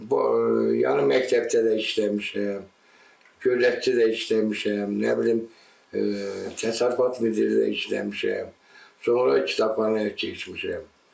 Yəni məktəbdə də işləmişəm, Güdəkdə də işləmişəm, nə bilim təsərrüfat birliyində də işləmişəm, sonra kitabxanaya keçmişəm.